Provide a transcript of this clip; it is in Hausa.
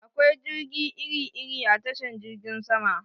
Akwai jirage iri-iri a tashan jirgin sama